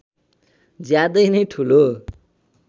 ज्यादै नै ठूलो